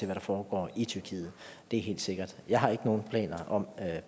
der foregår i tyrkiet det er helt sikkert jeg har ikke nogen planer om